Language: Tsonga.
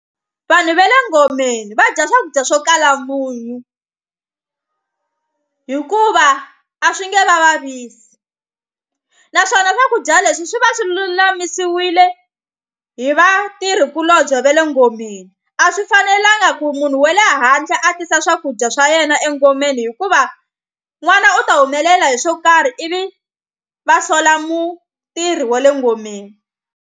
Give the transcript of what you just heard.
Vanhu va le ngomeni va dya swakudya swo kala munyu hikuva a swi nge vavisi naswona swakudya leswi swi va swi lulamisiwile hi vatirhikulobye va le ngomeni a swi fanelanga ku munhu wele handle a tisa swakudya swa yena engomeni hikuva n'wana u ta humelela hi swo karhi ivi va sola mutirhi wa le ngomeni.